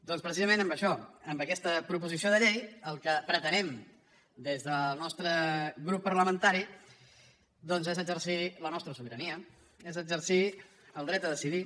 doncs precisament amb això amb aquesta proposició de llei el que pretenem des del nostre grup parlamentari és exercir la nostra sobirania és exercir el dret a decidir